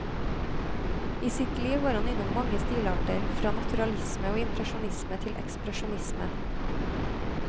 I sitt liv var han innom mange stilarter, fra naturalisme og impresjonisme til ekspresjonisme.